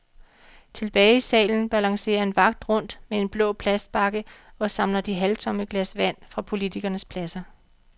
Tilbage i salen balancerer en vagt rundt med en blå plastbakke og samler de halvtomme glas vand fra politikernes pladser.